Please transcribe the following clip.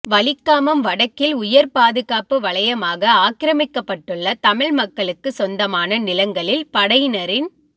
வலிகாமம் வடக்கில் உயர் பாதுகாப்பு வலயமாக ஆக்கிரமிக்கப்பட்டுள்ள தமிழ் மக்களுக்கு சொந்தமான நிலங்களில் படையினரின்